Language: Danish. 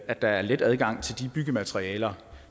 at der er let adgang til de byggematerialer